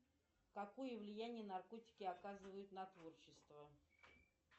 какое влияние наркотики оказывают на творчество